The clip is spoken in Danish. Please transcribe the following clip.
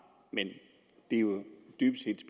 men det er jo dybest set